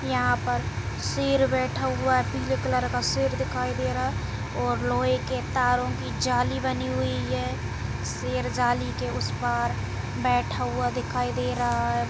यहाँ पर शेर बैठा हुआ पिले कलर का शेर दिखाई दे रहा है और लोहै के तारो की जाली बनी हुई है शेर जाली के उसे पार बैठा हुआ दिखाई दे रहा है।